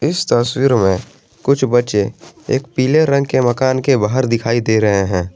इस तस्वीर मे कुछ बच्चे एक पीले रंग के मकान के बाहर दिखाई दे रहे है।